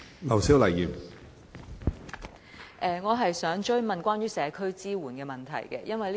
我想追問關於社區支援的問題。